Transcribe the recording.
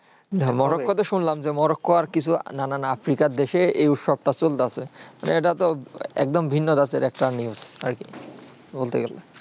morocco তে শুনলাম morocco আর কিছু নানান আফ্রিকা দেশে এই উৎসব তা চলতাছে মানে এইটা তো একদম ভিন্ন ধাঁচের একটা news আর কি বলতে গেলে